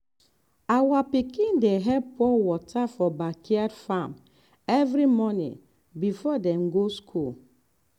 our pikin dey help pour water for backyard farm every morning before dem go school.